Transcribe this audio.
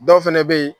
Dɔw fɛnɛ be yen